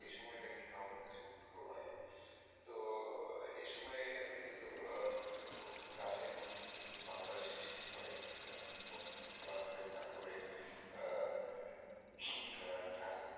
ওই সময়টা কিন্তু আমার কাছে ভালো লাগে। তো এই সময়ে কিন্তু গাছের নতুন পাতার সৃষ্টি হয় বসন্ত কাল আসলে তারপরে,